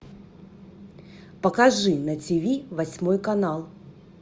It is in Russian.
покажи на тиви восьмой канал